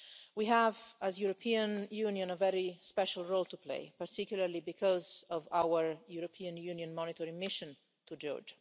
We have, as the European Union, a very special role to play, particularly because of our European Union monitoring mission to Georgia.